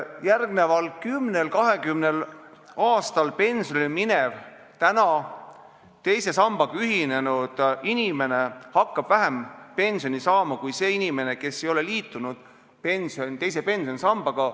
Järgmisel kümnel-kahekümnel aastal hakkab täna teise sambaga ühinenud inimene vähem pensioni saama kui see inimene, kes ei ole liitunud teise pensionisambaga.